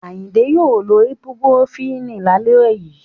Ayinke yoo lo ibupurofínì la le yii